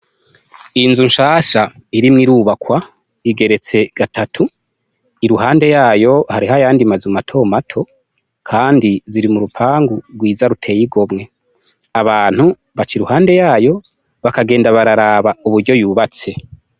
Inzu nshansha irimwo irubakwa igeretse gatatu, iruhande yayo hariyo ayandi mazu matomato, kandi ziri m'urupangu gwiza ruteye igomwe, abantu baca iruhade yayo bakagenda bararaba uburyo yubatse.